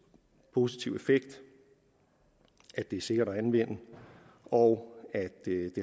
positiv effekt at det er sikkert at anvende og at det